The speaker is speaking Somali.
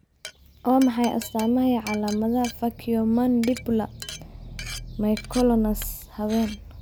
Waa maxay astaamaha iyo calaamadaha Faciomandibular myoclonus, habeen?